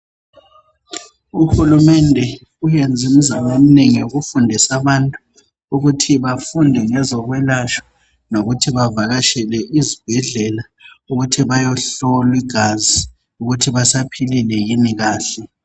Uhulumende uyenze imizamo eminengi, yokufundisa abantu ,ukuthi bafunde ngezokwelashwa, ukuthi bavakatshele izibhedlela. Bayehlolwa igazi, ukuthi basaphilile yini kahle.